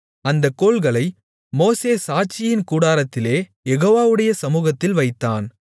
அந்தக் கோல்களை மோசே சாட்சியின் கூடாரத்திலே யெகோவாவுடைய சமுகத்தில் வைத்தான்